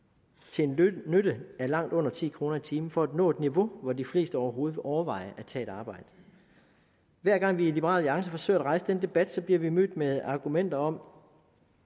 til en nytte af langt under ti kroner i timen for at nå et niveau hvor de fleste overhovedet vil overveje at tage et arbejde hver gang vi i liberal alliance forsøger at rejse den debat bliver vi mødt med argumentet om